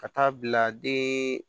Ka taa bila den